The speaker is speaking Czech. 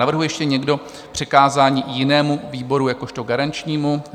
Navrhuje ještě někdo přikázání jinému výboru jakožto garančnímu?